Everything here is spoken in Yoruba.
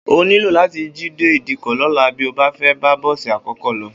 O óò nílò látí jí dé ìdíkò̩ ló̩la bí o bá fé̩ bá bó̩ò̩sì àkó̩kó̩ lo̩